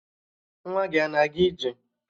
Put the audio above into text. Nwa gị a na-aga ije?